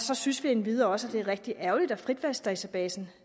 så synes vi endvidere også at det er rigtig ærgerligt at frit valg databasen